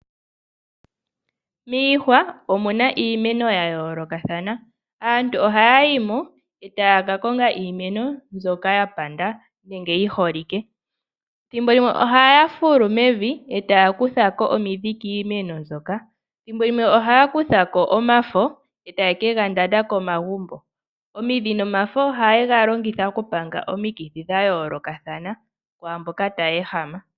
Miihwa omuna iimeno ya yoolokathana, aantu ohaya yi mo e taya ka konga iimeno mbyoka yapanda nenge yiholike. Ethimbo limwe ohaya fulu mevi e taya kutha ko omidhi kiimeno, thimbo limwe ohaya kutha ko omafo e taye kegandanda komagumbo. Omidhi nomafo ohayi longithwa okupanga omikithi dhayoolokathana dhaamboka taya ehama.